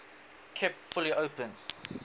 kept fully open